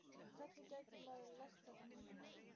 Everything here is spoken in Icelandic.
Hvernig gæti maður lært þetta tungumál?